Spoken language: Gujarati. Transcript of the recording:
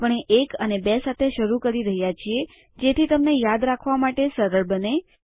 આપણે એક અને બે સાથે શરૂ કરી રહ્યાં છીએ જેથી તમને યાદ રાખવા માટે સરળ બને